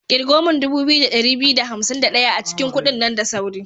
Ƙirgo min dubu biyu da ɗari biyu da hansim da ɗaya a cikin kudin nan da sauri.